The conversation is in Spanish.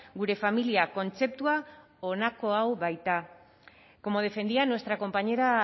gure familia kontzeptua honako hau baita como defendía nuestra compañera